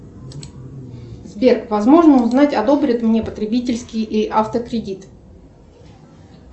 сбер возможно узнать одобрят мне потребительский и автокредит